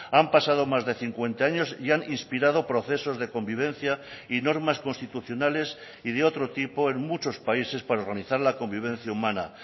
han pasado más de cincuenta años y han inspirado procesos de convivencia y normas constitucionales y de otro tipo en muchos países para organizar la convivencia humana